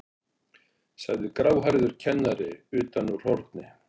sagði gráhærður kennari utan úr horni.